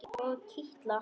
Og kitla hana.